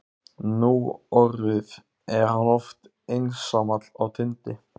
Núorðið er hann oft einsamall á tindi